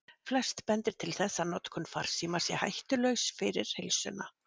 Flest bendir til þess að notkun farsíma sé hættulaus fyrir heilsuna.